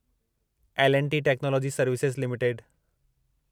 L and T technology services limited